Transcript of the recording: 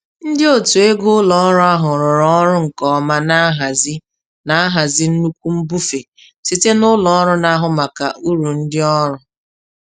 Ndị otu ego ụlọ ọrụ ahụ rụrụ ọrụ nke ọma na nhazi na nhazi nnukwu mbufe site na ụlọrụ na-ahụ maka uru ndị ọrụ.